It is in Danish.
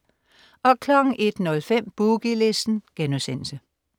01.05 Boogie Listen*